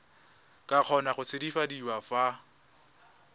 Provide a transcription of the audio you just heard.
ka kgona go tshabafadiwa fa